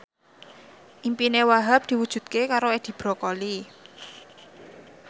impine Wahhab diwujudke karo Edi Brokoli